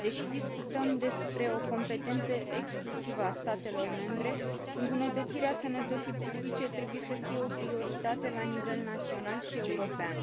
Deși discutăm despre o competență exclusivă a statelor membre, îmbunătățirea sănătății publice trebuie să fie o prioritate la nivel național și european.